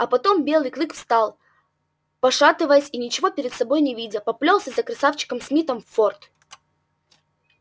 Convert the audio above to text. а потом белый клык встал пошатываясь и ничего перед собой не видя поплёлся за красавчиком смиттом в форт